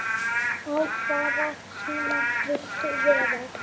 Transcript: á hvaða tíma viltu vera?